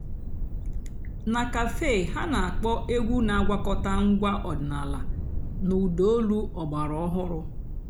nà càfé há nà-àkpọ́ ègwú nà-àgwàkọ̀tá ǹgwá ọ̀dị́náàlà nà ụ́dà ólú ọ̀gbàràòhụ́rụ́.